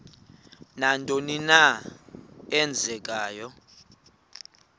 nantoni na eenzekayo